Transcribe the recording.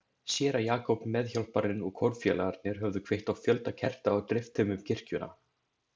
Séra Jakob, meðhjálparinn og kórfélagarnir höfðu kveikt á fjölda kerta og dreift þeim um kirkjuna.